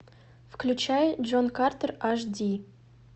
включай джон картер аш ди